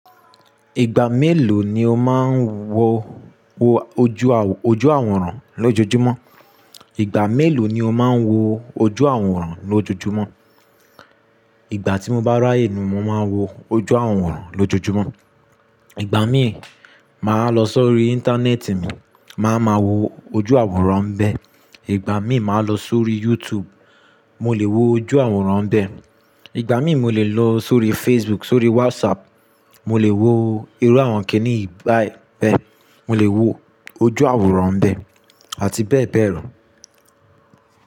Ìgbà mélòó ni o máa ń wo ojú àwòrán lójoojúmọ́? Ìgbà mélòó ni o máa ń wo ojú àwòrán lójoojúmọ́? Ìgbà tí mo bá rí àyè ni mo máa ń wo ojú àwòrán lójoojúmọ́. Ìgbà míì, màá lọ sórí Íńtánẹ́ẹ̀tì mi, màá ma wo ojú àwòrán bẹ́ẹ̀. Ìgbà míì, màá lọ sórí YouTube, mo lè wo ojú àwòrán bẹ́ẹ̀. Ìgbà míì mo lè lọ sórí Facebook, sórí WhatsApp, mo lè wo irú àwọn kìní báyìí bẹ́ẹ̀. Mo lè wo ojú àwòrán bẹ́ẹ̀ àti bẹ́ẹ̀ bẹ́ẹ̀ lọ.